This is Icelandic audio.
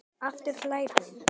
Aftur hlær hún.